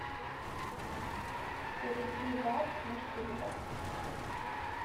перейди в апп мусильда